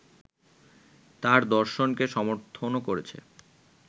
তার দর্শনকে সমর্থনও করেছে